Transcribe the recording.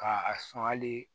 Ka a sɔn hali